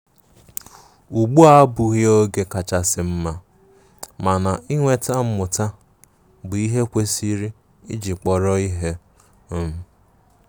Ụgbụ a abughi oge kachasi mma, mana inweta mmuta bụ ihe ekwesiri iji kpọrọ ihe um.